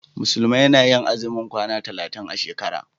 Musulmi na yi azumin kwana talatin a shekara.